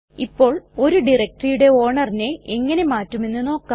ഇപ്പോൾ ഒരു directoryയുടെ ownerനെ എങ്ങനെ മാറ്റുമെന്ന് നോക്കാം